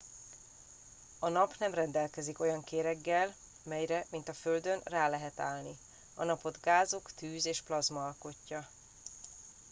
a nap nem rendelkezik olyan kéreggel amelyre mint a földön rá lehet állni a napot gázok tűz és plazma alkotja